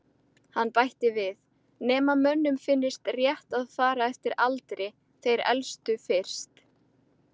Hann bætti við: Nema mönnum finnist rétt að fara eftir aldri- þeir elstu fyrst